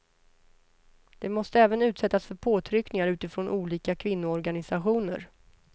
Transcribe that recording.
De måste även utsättas för påtryckningar utifrån av olika kvinnoorganisationer.